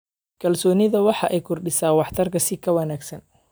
Kalsoonidu waxay kordhisaa waxtarka si ka wanaagsan.